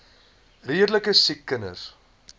redelike siek kinders